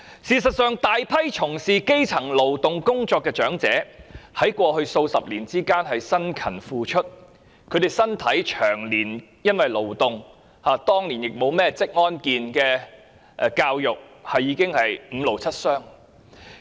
事實上，大批從事勞動工作的基層長者，在過去數十年辛勤付出，身體因為長年的勞動——當年亦沒有職安健教育——已經五癆七傷。